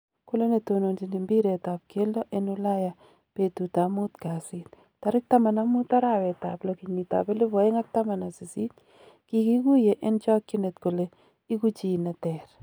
Kole netononjin imbiret ab keldo en Ulaya betutab muut kasit 15.06.2018"Kigiguye en chokyinet kole igu chii neter."